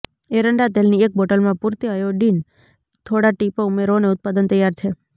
એરંડા તેલની એક બોટલમાં પૂરતી આયોડિન થોડા ટીપાં ઉમેરો અને ઉત્પાદન તૈયાર છે